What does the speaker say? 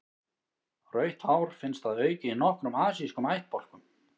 Rautt hár finnst að auki í nokkrum asískum ættbálkum.